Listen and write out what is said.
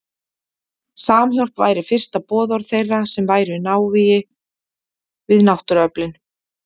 Samhjálp væri fyrsta boðorð þeirra sem væru í návígi við náttúruöflin.